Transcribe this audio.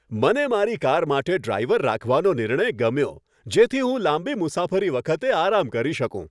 મને મારી કાર માટે ડ્રાઈવર રાખવાનો નિર્ણય ગમ્યો જેથી હું લાંબી મુસાફરી વખતે આરામ કરી શકું.